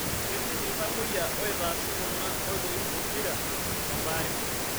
Ketii iltamoyia oitaasi kuna oitoi pokita e baare.